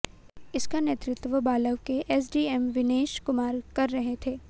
इसका नेतृत्व बावल के एसडीएम विनेश कुमार कर रहे थे